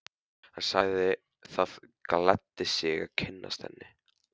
Hann sagði það gleddi sig að kynnast henni.